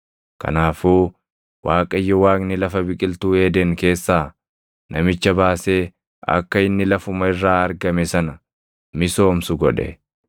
Kanaafuu Waaqayyo Waaqni lafa biqiltuu Eeden keessaa namicha baasee akka inni lafuma irraa argame sana misoomsu godhe.